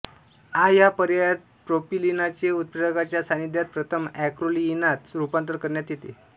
आ या पर्यायात प्रोपिलिनाचे उत्प्रेरकाच्या सान्निध्यात प्रथम एक्रोलीइनात रूपांतर करण्यात येते